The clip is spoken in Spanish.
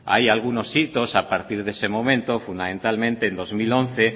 hay algunos hitos a partir de ese momento fundamentalmente en dos mil once